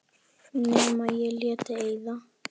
Nema ég léti eyða.